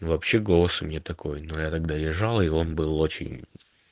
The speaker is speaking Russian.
ну вообще голос у меня такой но я тогда лежала и он был очень